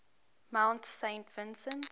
mount saint vincent